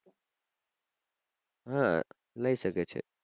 હા લઈ શકે છે.